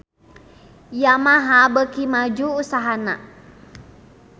Yamaha beuki maju usahana